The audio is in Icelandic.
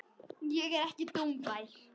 Ég er ekki dómbær.